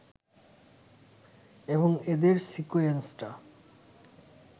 এবং এদের সিকোয়েন্সটা